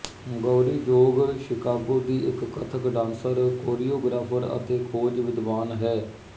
Gauri Jog Chicago ਦੀ ਇੱਕ Kathak dancer choreographer ਅਤੇ ਖੋਜ ਵਿਦਵਾਨ ਹੈ